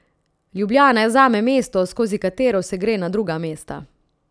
Ljubljana je zame mesto, skozi katero se gre na druga mesta.